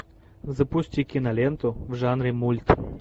запусти киноленту в жанре мульт